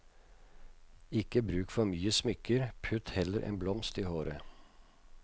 Ikke bruk for mye smykker, putt heller en blomst i håret.